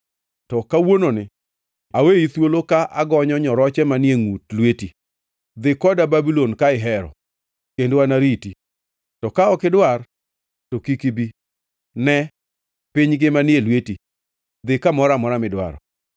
To kawuononi aweyi thuolo ka agonyo nyoroche manie ngʼut lweti. Dhi koda Babulon, ka ihero, kendo anariti; to ka ok idwar, to kik ibi. Ne, piny ngima ni e lweti; dhi kamoro amora midwaro.